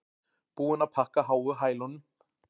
Búin að pakka háu hælunum